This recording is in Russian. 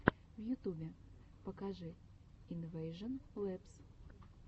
в ютубе покажи инвэйжон лэбс